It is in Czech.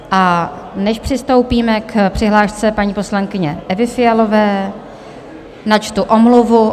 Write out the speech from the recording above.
A než přistoupíme k přihlášce paní poslankyně Evy Fialové, načtu omluvu.